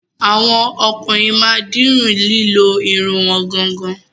Àwọn ọkùnrin ma dirun lilo Irun wọn gangan.